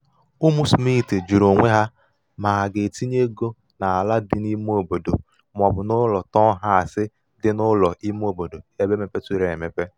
ụmụ smith jụrụ onwe ha ma ha ga-etinye ego n’ala dị n’ime obodo ma ọ bụ n’ụlọ taụnhas dị n’ụlọ ime obodo ebe mepeturu emepe